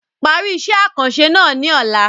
Parí iṣẹ́ àkànṣe náà ní ọ̀la.